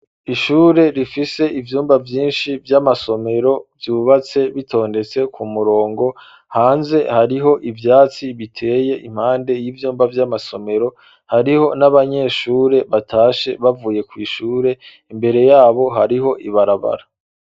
Ishure rifise ivyumba vyinshi vy'amasomero vyubatse bitondetse ku murongo, hanze hariho ivyatsi biteye impande y'ivyumba vy'amasomero, hariho n'abanyeshure batashe bavuye kw'ishure, imbere yabo hariho ibarabara.